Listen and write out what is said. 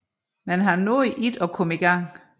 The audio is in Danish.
Men han nåede ikke at komme i gang